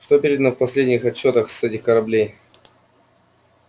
что передано в последних отчётах с этих кораблей